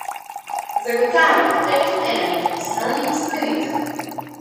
Zagotavlja, da je to ena njenih osnovnih usmeritev.